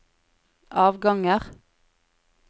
avganger